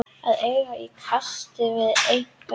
Að eiga í kasti við einhvern